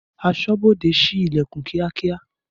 Aṣọ́bodè síí Ìlẹ̀kùn kíákíá